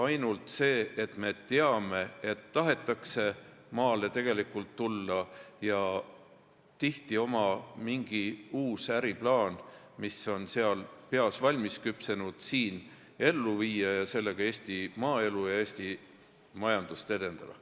Ainult see, et me teame, et tahetakse tegelikult maale tulla ja tihti oma mingi uus äriplaan, mis on peas valmis küpsenud, siin ellu viia ja sellega Eesti maaelu ja Eesti majandust edendada.